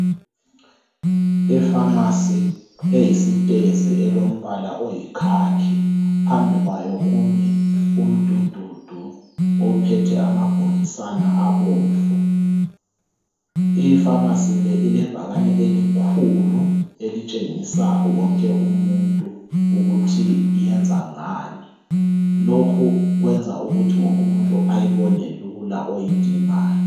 Ipharmacy eyistezi elombala oyi khakhi , phambi kwayo kumi umdududu ophethe amabhokisana abomvu , ipharmacy le ilebhakane elikhulu elitshengisa wonke umuntu ukuthi iyenza ngani , lokhu kwenza ukuthi umuntu wonke ayibone lula oyidingayo